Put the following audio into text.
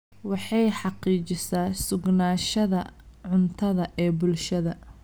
Waxay xaqiijisaa sugnaanshaha cuntada ee bulshada.